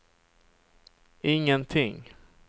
ingenting